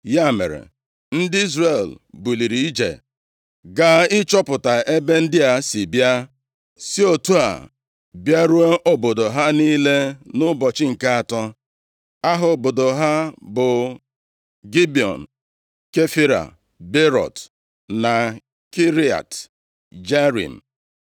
Ya mere, ndị Izrel buliri ije gaa ịchọpụta ebe ndị a si bịa, si otu a bịaruo obodo ha niile nʼụbọchị nke atọ. Aha obodo ha bụ Gibiọn, Kefira, Beerọt na Kiriat Jearim.